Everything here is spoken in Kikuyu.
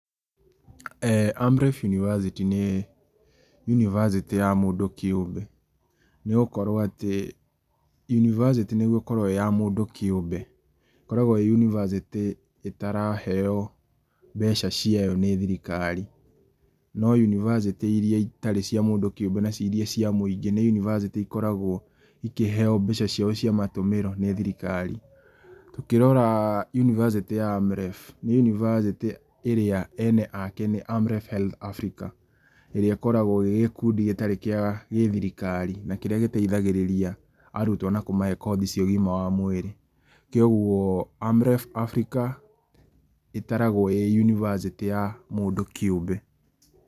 AMREF university nĩ yunibacĩtĩ ya mũndũ kĩũmbe nĩ gũkorwo atĩ yunibacĩtĩ nĩguo ĩkorwo ĩya mũndũ kĩũmbe, ĩkoragwo ĩ yunibacĩtĩ ĩtaraheyo mbeca ciao nĩ thirikari, no yunibacĩtĩ iria itarĩ cia mũndũ kĩũmbe na ciria cia mũingĩ nĩ yunibacĩtĩ ikoragwo ikĩheyo mbeca ciao cia matũmĩro nĩ thirikari. Tũkĩrora yunibacĩtĩ ya AMREF, nĩ yunibacĩtĩ ĩrĩa ene ake nĩ AMREF Health Africa, ĩrĩa ĩkoragwo ĩrĩ gĩkundi gĩtarĩ kĩa gĩthirikari na kĩrĩa gĩteithagĩrĩria arutwo na kũmahe kothi cia ũgima wa mwĩrĩ, kwoguo AMREF Africa ĩtaragwo ĩ yunibacĩtĩ ya mũndũ kĩũmbe.